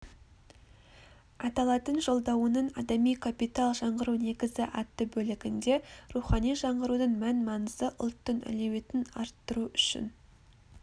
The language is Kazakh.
аталатын жолдауының адами капитал жаңғыру негізі атты бөлігінде рухани жаңғырудың мән-маңызы ұлттың әлеуетін арттыру үшін